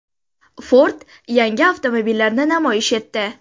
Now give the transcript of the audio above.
Ford yangi avtomobillarni namoyish etdi.